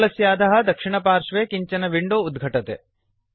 पटलस्य अधः दक्षिणपार्श्वे किञ्चन विंडो उद्घटते